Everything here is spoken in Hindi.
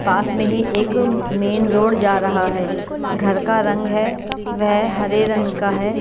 पास में ही एक मेन रोड जा रहा है घर का रंग है वह हरे रंग का है।